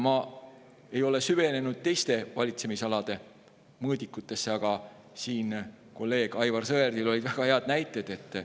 Ma ei ole süvenenud teiste valitsemisalade mõõdikutesse, aga kolleeg Aivar Sõerdil olid siin väga head näited.